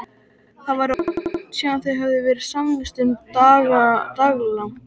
Það var orðið langt síðan þau höfðu verið samvistum daglangt.